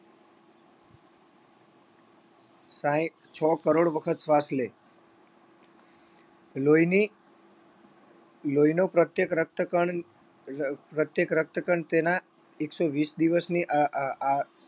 સાઈઠ છ કરોડ વખત શ્વાસ લે. લોહીની લોહીનો પ્રત્યેક રક્તકણ રક્ પ્રત્યેક રક્તકણ તેના એકસો વીસ દિવસની આ આ આ આ